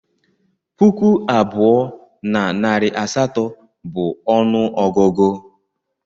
Puku abụọ na narị asatọ bụ ọnụọgụgụ